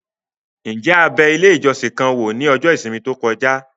Ǹjẹ́ a bẹ ilé ìjọsìn kan wò ní ọjọ́ ìsinmi tó kọjá?